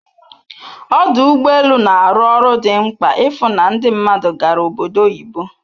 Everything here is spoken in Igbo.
Ọdụ ụgbọ elu na-arụ ọrụ dị mkpa ịfụ na ndị mmadụ gara obodo oyibo